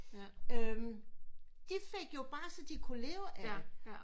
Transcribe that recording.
Øm de fik jo bare så de kunne leve af det